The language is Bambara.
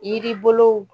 Yiri bolow